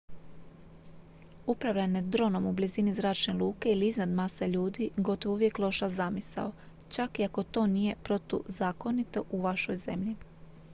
upravljanje dronom u blizini zračne luke ili iznad mase ljudi gotovo je uvijek loša zamisao čak i ako to nije protuzakonito u vašoj zemlji